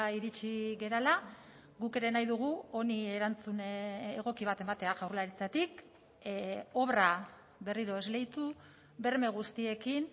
iritsi garela guk ere nahi dugu honi erantzun egoki bat ematea jaurlaritzatik obra berriro esleitu berme guztiekin